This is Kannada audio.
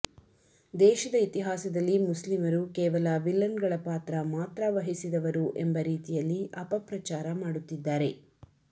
ದೇಶದ ಇತಿಹಾಸದಲ್ಲಿ ಮುಸ್ಲಿಮರು ಕೇವಲ ವಿಲನ್ಗಳ ಪಾತ್ರ ಮಾತ್ರ ವಹಿಸಿದವರು ಎಂಬ ರೀತಿಯಲ್ಲಿ ಅಪಪ್ರಚಾರ ಮಾಡುತ್ತಿದ್ದಾರೆ